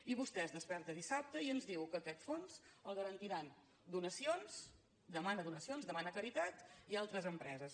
i vostè es desperta dissabte i ens diu que aquest fons el garantiran donacions demana donacions demana caritat i altres empreses